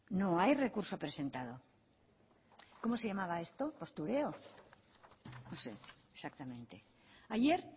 no hay recurso presentado cómo se llamaba esto postureo no sé exactamente ayer